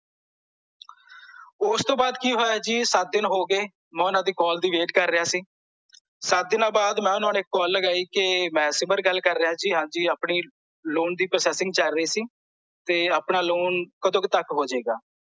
ਓਸਤੋਂ ਬਾਅਦ ਕੀ ਹੋਇਆ ਜੀ ਸੱਤ ਦਿਨ ਹੋ ਗਏ ਮੈਂ ਓਹਨਾਂ ਦੀ ਕਾਲ ਦੀ wait ਕਰ ਰਿਹਾ ਸੀ ਸੱਤ ਦੀਆਂ ਬਾਅਦ ਮੈਂ ਓਹਨਾਂ ਨੂੰ ਇੱਕ ਕਾਲ ਲਗਾਈ ਕੇ ਮੈਂ ਸਿਮਰ ਗੱਲ ਕਰ ਰਿਹਾ ਜੀ ਆਪਣੀ ਲੋਨ ਦੀ processing ਚੱਲ ਰਹਿ ਸੀ ਤੇ ਆਪਣਾ ਲੋਨ ਕਦੋਂ ਕ ਤਕ ਹੋ ਜੇ ਗ